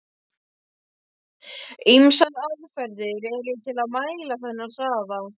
Ýmsar aðferðir eru til að mæla þennan hraða.